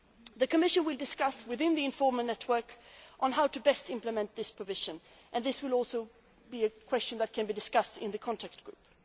The Commission will discuss, within the informal network, how best to implement this provision, and this will also be a question to be discussed in the contact group.